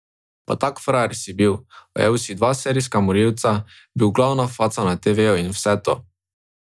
Pa tak frajer si bil, ujel si dva serijska morilca, bil glavna faca na teveju in vse to.